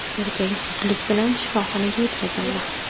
Erkak zudlik bilan shifoxonaga yetkazildi.